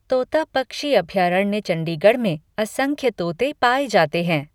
तोता पक्षी अभयारण्य चंडीगढ़ में असंख्य तोते पाए जाते हैं।